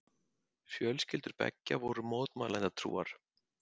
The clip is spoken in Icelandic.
Fjölskyldur beggja voru mótmælendatrúar.